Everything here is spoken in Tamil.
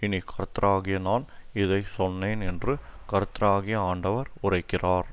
இனி கர்த்தராகிய நான் இதை சொன்னேன் என்று கர்த்தராகிய ஆண்டவர் உரைக்கிறார்